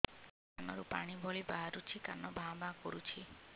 କାନ ରୁ ପାଣି ଭଳି ବାହାରୁଛି କାନ ଭାଁ ଭାଁ କରୁଛି